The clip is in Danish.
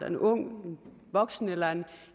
en ung voksen eller en